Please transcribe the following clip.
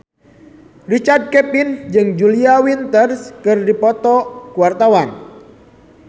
Richard Kevin jeung Julia Winter keur dipoto ku wartawan